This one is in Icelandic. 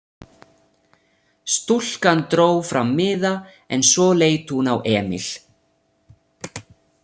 Stúlkan dró fram miða en svo leit hún á Emil.